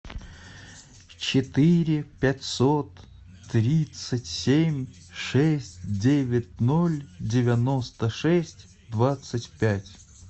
четыре пятьсот тридцать семь шесть девять ноль девяносто шесть двадцать пять